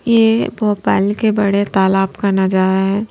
ये भोपाल के बड़े तालाब का नजारा है।